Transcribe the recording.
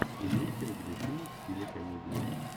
имеется ли у тебя фильм в стиле комедия